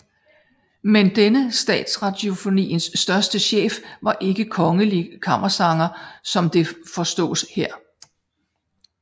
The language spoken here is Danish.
Men denne Statsradiofoniens første chef var ikke kongelig kammersanger som det forstås her